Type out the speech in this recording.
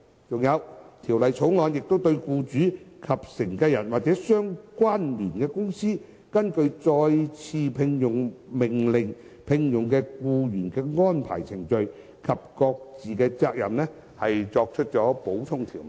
再者，《條例草案》亦對僱主及繼承人或相聯公司根據再次聘用命令聘用僱員的安排程序及各自責任作出補充條文。